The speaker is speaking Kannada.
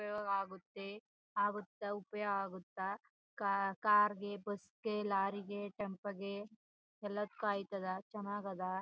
ಉಪಯೋಗ ಆಗುತ್ತೆ ಆಗುತ್ತಾ ಉಪಯೋಗ ಆಗುತ್ತಾ ಕಾ ಕಾರ್ ಗೆ ಬಸ್ ಗೆ ಲಾರಿ ಗೆ ಟೆಂಪೋ ಗೆ ಎಲ್ಲದಕು ಆಯ್ತಧ ಚನ್ನಾಗ್ ಅಧ.